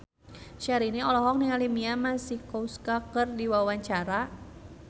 Syahrini olohok ningali Mia Masikowska keur diwawancara